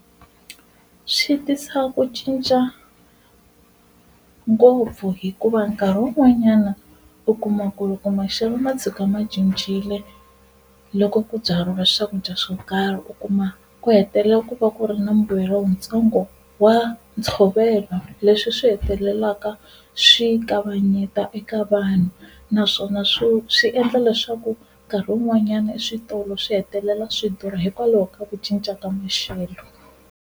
Swi tisa ku cinca ngopfu hikuva nkarhi wun'wanyana u kuma ku loko maxelo ma tshuka ma cincile loko ku byariwa swakudya swo karhi, u kuma ku hetelela ku va ku ri na mbuyelo wu ntsongo wa ntshovelo leswi swi hetelelaka swi kavanyeta eka vanhu. Naswona swi swi endla leswaku nkarhi wun'wanyana eswitolo swi hetelela swi durha hikwalaho ka ku cinca ka maxelo.